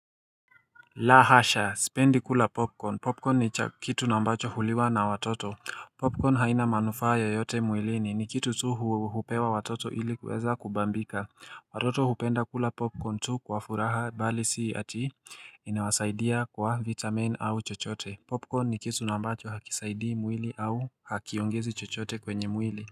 Lahasha. Sipendi kula popcorn. Popcorn ni kitu nambacho huliwa na watoto. Popcorn haina manufaa yo yote mwilini. Ni kitu tu hupewa watoto ili kuweza kubambika. Watoto hupenda kula popcorn tu kwa furaha bali si ati inawasaidia kwa vitamin au chochote. Popcorn ni kitu na ambacho hakisaidii mwili au hakiongezi chochote kwenye mwili.